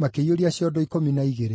makĩiyũria ciondo ikũmi na igĩrĩ.